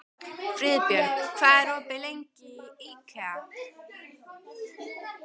Friðbjörg, hvað er lengi opið í IKEA?